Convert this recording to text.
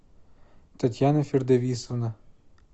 татьяна фердовисовна